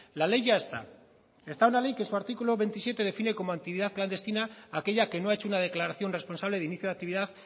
la ley ya está está una ley que su artículo veintisiete define como actividad clandestina aquella que no ha hecho una declaración responsable de inicio de actividad